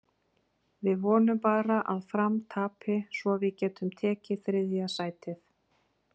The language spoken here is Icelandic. Við vonum bara að Fram tapi svo við getum tekið þriðja sætið.